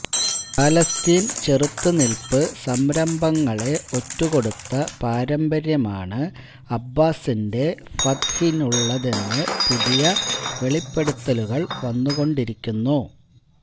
ഫലസ്ത്വീന് ചെറുത്തുനില്പ് സംരംഭങ്ങളെ ഒറ്റുകൊടുത്ത പാരമ്പര്യമാണ് അബ്ബാസിന്റെ ഫത്ഹിനുള്ളതെന്ന് പുതിയ വെളിപ്പെടുത്തലുകള് വന്നുകൊണ്ടിരിക്കുന്നു